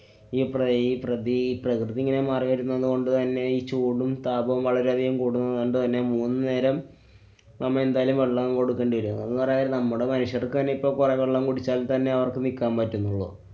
ഈ പ്ര~ ഈ പ്രതീ~ പ്രകൃതി ഇങ്ങനെ മാറി വരുന്നതുകൊണ്ട് തന്നെ ഈ ചൂടും താപവും വളരെയധികം കൂടുന്നതുകൊണ്ടുതന്നെ മൂന്നുനേരം നമ്മ എന്തായാലും വെള്ളം കൊടുക്കേണ്ടി വരും. അതെന്നു പറഞ്ഞാ നമ്മുടെ മനുഷ്യര്‍ക്ക്‌ തന്നെ ഇപ്പോ പൊഴവെള്ളം കുടിച്ചാല്‍ തന്നെ അവര്‍ക്ക് നിക്കാന്‍ പറ്റുന്നുള്ളൂ.